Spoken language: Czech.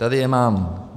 Tady je mám.